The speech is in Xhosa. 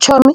Tshomi,